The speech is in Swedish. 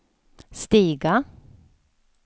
stiga